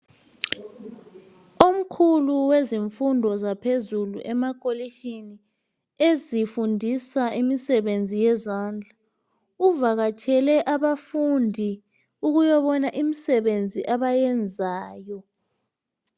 Omkhulu wezemfundo zaphezulu emakholitshini ezifundisa imisebenzi yezandla uvakatshele abafundi ukuyobana imisebenzi abayenzayo.